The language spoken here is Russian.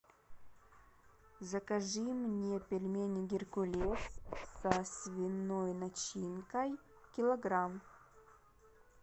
закажи мне пельмени геркулес со свиной начинкой килограмм